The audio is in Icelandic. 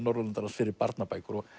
Norðurlandaráðs fyrir barnabækur